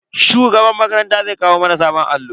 Shugaban makaranta zai kawo mana sabon allo.